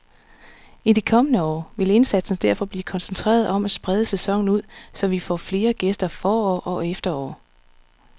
I de kommende år vil indsatsen derfor blive koncentreret om at sprede sæsonen ud, så vi får flere gæster forår og efterår.